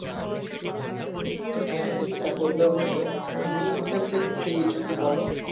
হ্যাঁ হ্যাঁ সেটা করলেও হবে তুমি কোথায় কোথায় ঘুরতে গিয়েছো একটু বলো